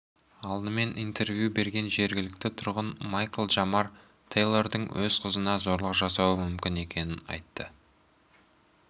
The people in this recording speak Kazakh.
алдымен интервью берген жергілікті тұрғын майкл джамар тэйлордың өз қызына зорлық жасауы мүмкін екенін айтты